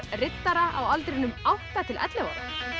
riddara á aldrinum átta til ellefu ára